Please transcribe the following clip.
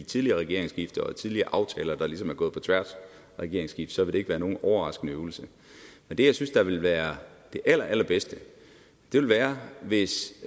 tidligere regeringsskift og tidligere aftaler der ligesom er gået på tværs af regeringsskift så vil det ikke være nogen overraskende øvelse men det jeg synes ville være det allerallerbedste var hvis